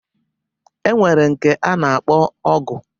E nwere nke a na-akpọ Ọgụ.